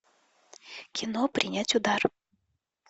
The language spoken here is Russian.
кино принять удар